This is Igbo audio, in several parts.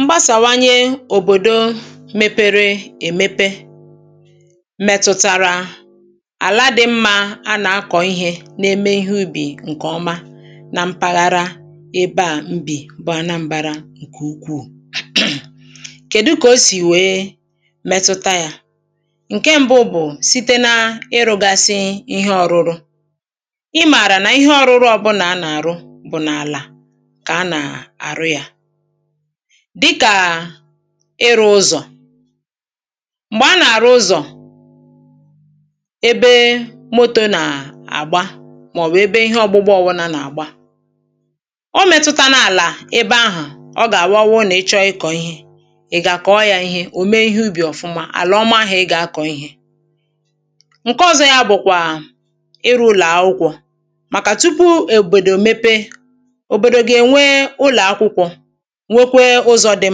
mgbasàwaye òbòdò mēpērē èmepe mẹ̀tụ̀tàrà àla dị̄ mmā ha nā-ākọ̀ ihē na-eme ihe ubì ǹkè oma na mpaghara ebe à m bì bụ Anambara ǹkè ukwuù kèdu kà o sì wèe mẹtụta yā? ǹke mbụ̄ bụ̀ site na-ịrụ̄gāsị̄ ihe ọ̄rụ̄rụ̄vv ị mààrà nà ihe ọ̄rụ̄rụ̄ ọbụlà ha nà-ar̀ụ bụ̀ n’àlà kà ha nà-àrụ yā dịkà ịrụ̄ ụ̄zọ̀ m̀gbè ha nà-àrụ ụzọ̀ ebe motō nà-àgba màọ̀bụ̀ ebe ihe ọ̄gbụ̄gbā ọbụlà nà-àgba o mētụ̄tānā àlà ebe ahà ọ gà-àwụ ọwụrụ nà ị chọrọ ịkọ̀ ihe ị̀ gà-àkọ̀ọ yā ihe, ò me ihe ubì ọ̀fụma àlà ọma ahụ̀ ị gà-akọ̀ ihē? ǹke ọ̄zọ̄ yā bụ̀kwà ịrụ̄ ụlọ̀ akwụkwọ̄ màkà tupu òbòdò mepe òbòdò gà-ènwe ụlọ̀ akwụkwọ̄ nweke ụzọ̄ dị̀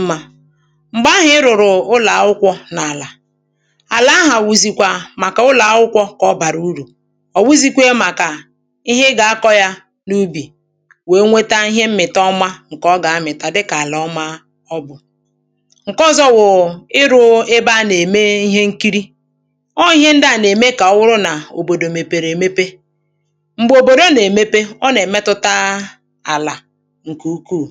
mmā m̀gbè ahụ̀ ị rụ̀rụ̀ ụlọ̀ akwụkwọ̄ n’àlà àlà ahụ̀ wụ̀zị̀kwà màkà ụlọ̀ akwụkwọ̄ kà ọ bàrà urù ọ̀ wụhụ̄zīkwē màkà ihe ị gà-akọ̄ yà n’ubì nwère nweta ihe mmị̀ta ọma ǹkè ọ gà-amị̀ta dịkà àlà ọma ọ bụ̀ ǹke ọ̄zọ̄ wụ̀ ịrụ̄ ebe ha nà-ème ihe nkiri ọwụ̀ ihe ndị à nà-ème kà ọ wụrụ nà òbòdò mèpèrè èmepe m̀gbè òbòdo nà-èmepe ọ nà-èmetụta àlà ǹkè ukwuù